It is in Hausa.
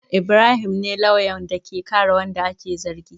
Ibrahim ne lauyan da ke kare wanda ake zargin.